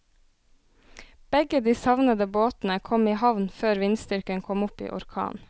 Begge de savnede båtene kom i havn før vindstyrken kom opp i orkan.